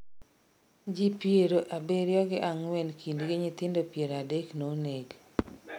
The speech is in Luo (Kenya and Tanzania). ji pier abirio gi ang'wen kindgi nyithindo pier adek noneg